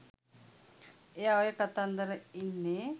එයා ඔය කතන්දර ඉන්න